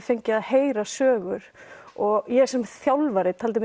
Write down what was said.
fengið að heyra sögur og ég sem þjálfari taldi